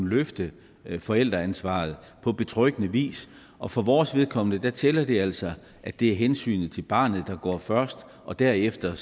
løfte forældreansvaret på betryggende vis og for vores vedkommende tæller det altså at det er hensynet til barnet der går først og derefter